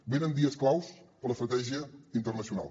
venen dies claus per a l’estratègia internacional